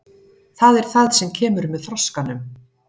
Það er það sem kemur með þroskanum.